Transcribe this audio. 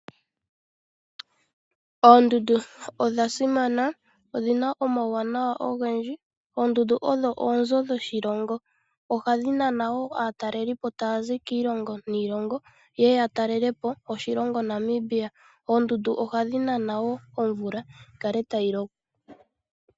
Oondundu odha simana, odhina omawuwanawa ogendji. Oondundu odho oonzo dhoshilongo. Ohadhi nana woo aatalelipo taa zi kiilongo niilongo yeye ya talele po oshilonga Namibia. Oondundu ohadhi nana woo omvula yi kale tayi loko.